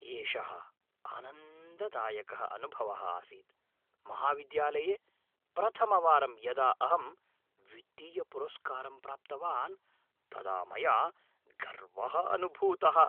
एषः आनन्ददायकः अनुभवः आसीत् । महाविद्यालये प्रथमवारं यदा अहं वित्तीयपुरस्कारं प्राप्तवान् तदा मया गर्वः अनुभूतः।